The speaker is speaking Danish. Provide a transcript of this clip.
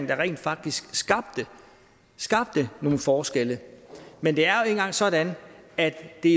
der rent faktisk skabte nogle forskelle men det er jo engang sådan at det